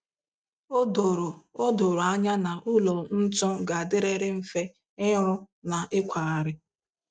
O doro O doro anya na ụlọ ntu ga-adịrịrị mfe ịrụ na ịkwagharị.